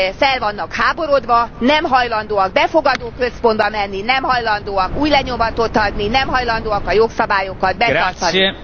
Fel vannak háborodva, nem hajlandóak befogadó központba menni, nem hajlandóak ujjlenyomatot adni, nem hajlandóak a jogszabályokat betartani.